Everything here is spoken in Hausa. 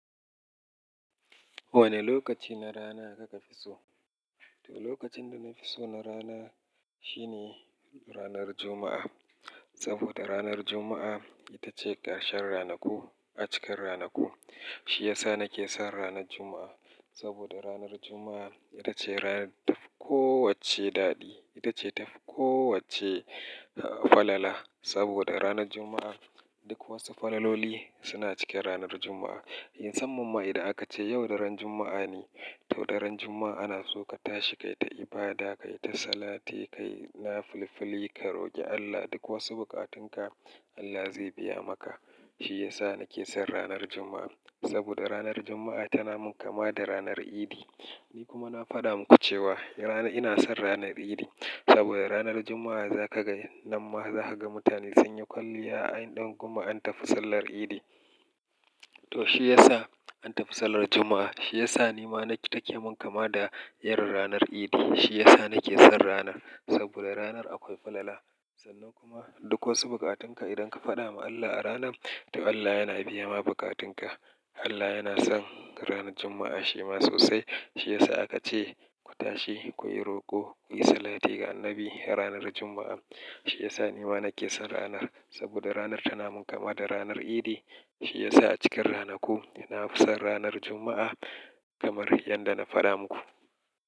Wane lokaci na rana naka fi so? To lokacin da na fi so na rana shine ranar Juma'a. Saboda ranar Juma'a ita ce ƙarshen ranaku, a cikin ranaku. Shi yasa na ke son ranar Juma'a. Saboda ranar Juma'a ita ce rana data fi kowacce daɗi, ita ce ta fi kowacce falala. Saboda ranar Juma'a duk wasu falaloli suna cikin ranar Juma'a. Musanman ma idan aka ce yau daren Juma'a ne, to daren Juma'a ana so ka tashi, kai ta ibada, kai ta salati, kai na filifili, ka roƙi Allah duk wasu bukatunka Allah zai biya maka. Shi ya sa na ke son ranar Juma'a. Saboda ranar Juma'a tana mun kama da ranar Idi. Ni kuma na faɗa muku cewa rana-- ina son ranar Idi. Saboda ranar Juma'a za ka ga, nan ma za ka ga mutane sun yi kwalliya ainan kuma an tafi sallar Idi. To shi ya sa an tafi sallar Juma'a. Shi ya sa ni ma nake-- take mun kama da irin ranar Idi. Shi ya sa na ke son ranar. Saboda ranar akwai falala. Sannan kuma duk wasu bukatunka idan ka faɗa ma Allah a ranar, to Allah yana biya ma bukatunka. Allah yana son ranar Juma'a shi ma sosai. Shi ya sa aka ce ku tashi, kuyi roƙo, kuyi salati ga Annabi ranar Juma'a. Shi ya sa ni ma na ke son ranar. Saboda ranar tana mun kama da ranar Idi. Shi ya sa a cikin ranaku ina fi son ranar Juma'a kamar yadda na faɗa muku.